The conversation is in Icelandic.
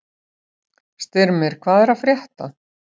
Styrmir, hvað er að frétta?